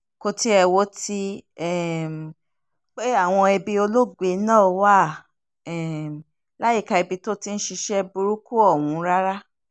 kò tiẹ̀ wo ti um pé àwọn ẹbí olóògbé náà wà um láyìíká ibi tó ti ń ṣiṣẹ́ burúkú ọ̀hún rárá